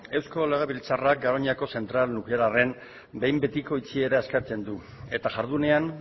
eusko legebiltzarra garoñako zentral nuklearraren behin betiko itxiera eskatzen du eta jardunean